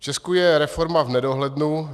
V Česku je reforma v nedohlednu.